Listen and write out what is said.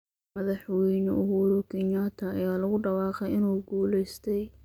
Madaxweyne Uhuru Kenyatta ayaa lagu dhawaaqay inuu ku guuleystay.